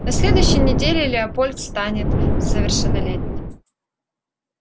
на следующей неделе леопольд станет совершеннолетним